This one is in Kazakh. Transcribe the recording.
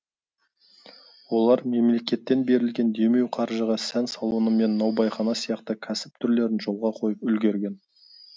олар мемлекеттен берілген демеу қаржыға сән салоны мен наубайхана сияқты кәсіп түрлерін жолға қойып үлгерген